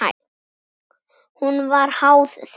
Hún var háð þeim.